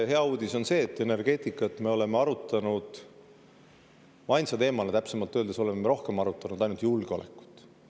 Hea uudis on see, et energeetika me oleme rohkem arutanud ainult julgeoleku.